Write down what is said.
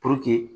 Puruke